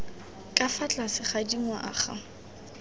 ka fa tlase ga dingwaga